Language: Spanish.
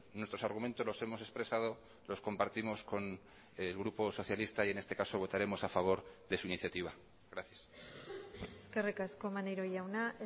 nuestros argumentos los hemos expresado los compartimos con el grupo socialista y en este caso votaremos a favor de su iniciativa gracias eskerrik asko maneiro jauna